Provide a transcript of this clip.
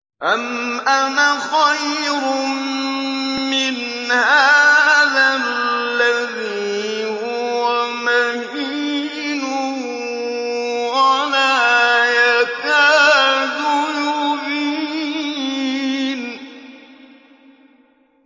أَمْ أَنَا خَيْرٌ مِّنْ هَٰذَا الَّذِي هُوَ مَهِينٌ وَلَا يَكَادُ يُبِينُ